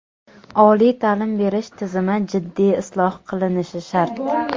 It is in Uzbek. Oliy ta’lim berish tizimi jiddiy isloh qilinishi shart!.